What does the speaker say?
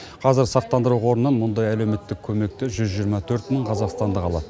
қазір сақтандыру қорынан мұндай әлеуметтік көмекті жүз жиырма төрт мың қазақстандық алады